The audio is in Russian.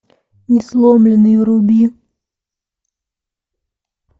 несломленный вруби